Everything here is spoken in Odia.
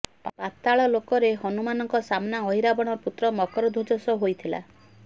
ପାତାଳଲୋକରେ ହନୁମାନଙ୍କ ସାମ୍ନା ଅହିରାବଣର ପୁତ୍ର ମକରଧ୍ବଜ ସହ ହୋଇଥିଲା